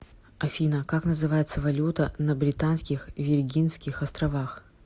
афина как называется валюта на британских виргинских островах